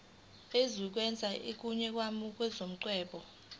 esinikeza isigunyaziso somngcwabo